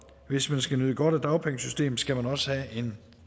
hvis man skal nyde godt af dagpengesystemet skal man også have en